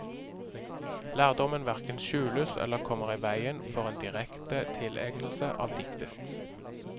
Lærdommen hverken skjules eller kommer i veien for en direkte tilegnelse av diktet.